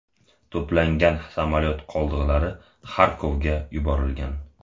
To‘plangan samolyot qoldiqlari Xarkovga yuborilgan.